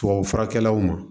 Tubabufurakɛlaw ma